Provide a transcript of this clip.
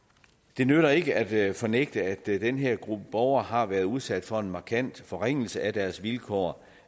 det nytter ikke at fornægte at den her gruppe borgere har været udsat for en markant forringelse af deres vilkår